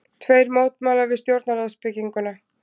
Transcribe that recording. Tveir mótmæla við stjórnarráðsbygginguna